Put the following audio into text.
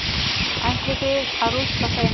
Ætlið þið að rústa þeim?